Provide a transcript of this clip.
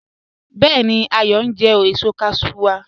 Bẹẹ̀ni, Ayọ n jẹ èṣọ́ cashew wa